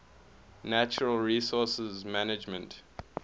natural resource management